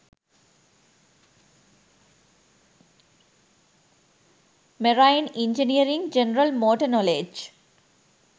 marine engineering general motor knowledge